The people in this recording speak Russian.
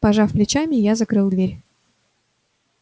пожав плечами я закрыл дверь